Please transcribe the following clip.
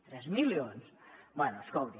tres milions bé escolti